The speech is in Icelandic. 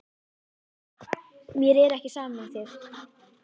Mér er ekki sama um þig.